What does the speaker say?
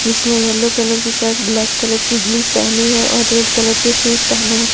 जिसने yellow colour की shirt black colour की जींस पहनी है और रेड कलर के शूज पहने है।